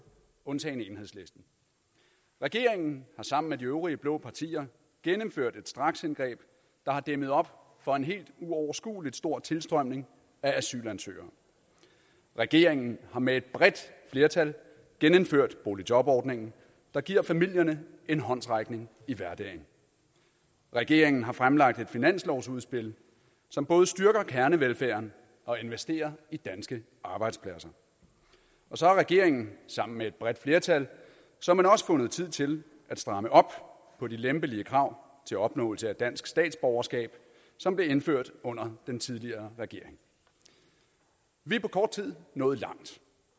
undtagen enhedslisten regeringen har sammen med de øvrige blå partier gennemført et straksindgreb der har dæmmet op for en helt uoverskuelig stor tilstrømning af asylansøgere regeringen har med et bredt flertal genindført boligjobordningen der giver familierne en håndsrækning i hverdagen regeringen har fremlagt et finanslovsudspil som både styrker kernevelfærden og investerer i danske arbejdspladser så har regeringen sammen med et bredt flertal såmænd også fundet tid til at stramme op på de lempelige krav til opnåelse af dansk statsborgerskab som blev indført under den tidligere regering vi er på kort tid nået langt